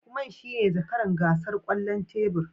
Lukman shine zakaran gasar kwallon tebur